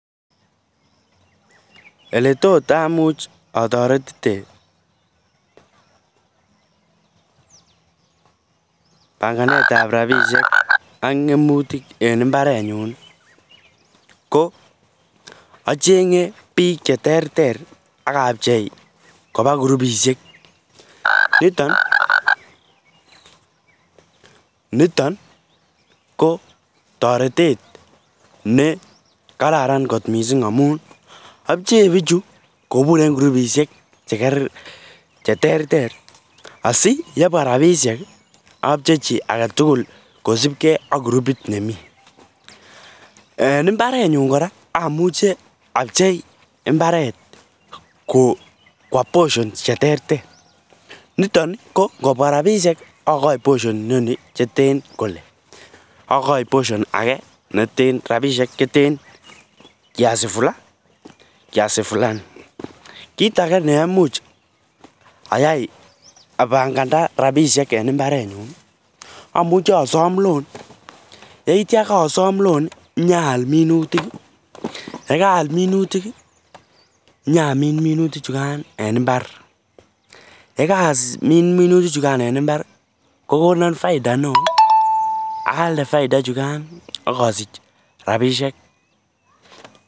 Oletot amuch ataretite banganet ab rabishek ak ngemutik en imbaret nyun achenge bik cheterter akabcheibkoba kurubishek niton kobtaretet nekararan kot mising amun abche bichu kobur en kurubishek chekergei cheterter asiyebwa rabishek abchechi agetugul kosibgei ak kurubit nemi en imbaren nyun koraa amuche abchei imbaret Kwa poisons cheterter niton ko ngobwa rabishek Akai poshon inoni neten Kole ak Akai poshon age neten rabishek cheten kiasi Fulani kit age neimuche ayai abanganda rabishek en imbarenyun amuche asom loan yeitya Kadam loan inyonayal minutik yekarayal minutik inyonamin minutik chukan en imbar yekamin minutik en imbar kokonon faida neon ayalde faida ichukan Kasich rabishek